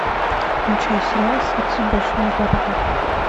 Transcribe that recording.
включай сериал секс в большом городе